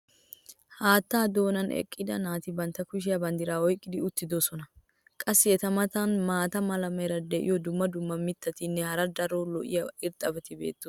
haattaa doonan eqqida naati bantta kushiyan banddiraa oyqqi uttidosona. qassi eta matan maata mala meray diyo dumma dumma mitatinne hara daro lo'iya irxxabati beetoosona.